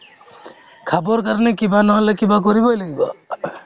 খাবৰ কাৰণে কিবা নহ'লে কিবা কৰিবই লাগিব ing